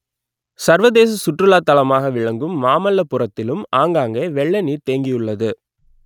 சர்வதேச சுற்றுலா தலமாக ‌விள‌க்கு‌ம் மாமல்லபுர‌த்‌தி‌லு‌ம் ஆ‌ங்கா‌ங்கே வெ‌ள்ள ‌நீ‌ர் தே‌ங்‌கியு‌ள்ளது